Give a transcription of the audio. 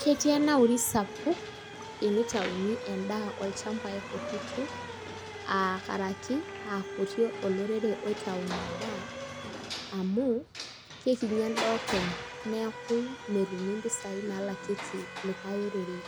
Ketii enauri sapuk tenitauni endaa olchambai kutitik aa karaki aa kuti olorere oitayu amu kekinyi endaa openy neeku metumi mpisai naalakieki likai orere